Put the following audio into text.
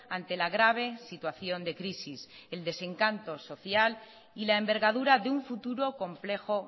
ante la grave situación de crisis el desencanto social y la envergadura de un futuro complejo